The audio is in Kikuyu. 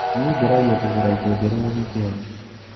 Nie ngeragia kũruga indo njerũ o wikendi.